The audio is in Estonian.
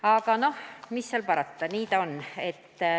Aga mis seal parata, nii ta on.